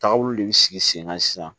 Tagabolo de bɛ sigi sen kan sisan